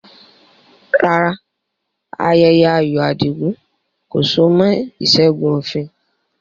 Rárá, ayẹyẹ ayọ̀ Adigun kò so mọ́ ìṣẹ́gun òfin